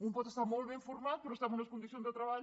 un pot estar molt ben format però estar amb unes condicions de treball